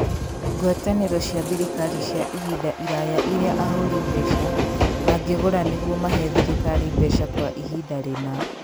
Ngwatanĩro cia thirikari cia ihinda iraya iria ahũri mbeca mangĩgũra nĩguo mahe thirikari mbeca kwa ihinda rĩna.